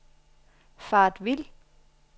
faret vild